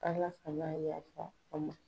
Ala kan'a yafa an ma.